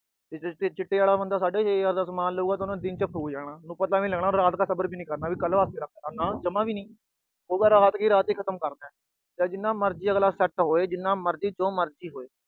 ਚਿੱਟੇ ਆਲਾ ਬੰਦਾ ਸਾਢੇ ਛੇ ਹਜਾਰ ਦਾ ਸਮਾਨ ਲਊਗਾ, ਉਹਨੇ ਦਿਨ ਚ ਫੁੱਕ ਜਾਣਾ। ਉਹਨੂੰ ਪਤਾ ਵੀ ਨੀ ਲੱਗਣਾ, ਉਹਨੇ ਰਾਤ ਤੱਕ ਸਬਰ ਵੀ ਨੀ ਕਰਨਾ, ਕੱਲ੍ਹ ਵਾਸਤੇ ਰੱਖਲਾ, ਨਾ ਜਮ੍ਹਾ ਵੀ ਨੀ। ਉਹ ਰਾਤ ਦੀ ਰਾਤ ਹੀ ਖਤਮ ਕਰਨਾ। ਜਾਂ ਜਿੰਨਾ ਮਰਜੀ set ਹੋਏ, ਜੋ ਮਰਜੀ ਹੋਏ।